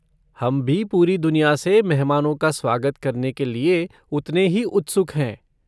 हम भी पूरी दुनिया से मेहमानों का स्वागत करने के लिए उतने ही उत्सुक हैं।